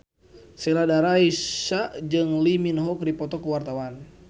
Sheila Dara Aisha jeung Lee Min Ho keur dipoto ku wartawan